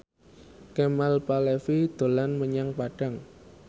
Kemal Palevi dolan menyang Padang